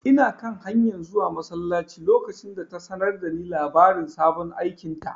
Ina kan hanyar zuwa masallaci lokacin da ta sanar da ni labarin sabon aikinta.